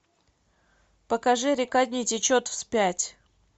покажи река не течет вспять